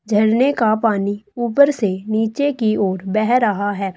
झरने का पानी ऊपर से नीचे की ओर बह रहा है।